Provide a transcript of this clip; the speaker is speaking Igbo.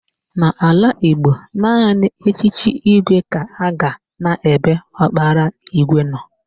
N'ala Igbo, naanị echiche igwe ga-aga n'ebe ọkpara igwe nọ